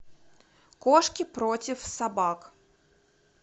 кошки против собак